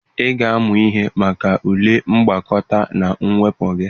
Ị ga-amụ ihe maka ule mgbakọ na mwepụ gị!